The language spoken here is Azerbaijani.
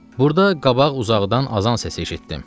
Burda qabaq uzaqdan azan səsi eşitdim.